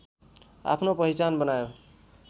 आफ्नो पहिचान बनायो